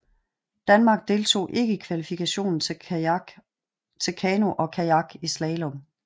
Danmark deltog ikke i kvalifikationen til kano og kajak i slalom